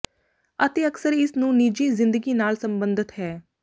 ਅਤੇ ਅਕਸਰ ਇਸ ਨੂੰ ਨਿੱਜੀ ਜ਼ਿੰਦਗੀ ਨਾਲ ਸਬੰਧਤ ਹੈ